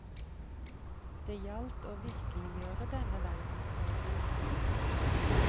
Det gjaldt å virkeliggjøre denne verdensordenen.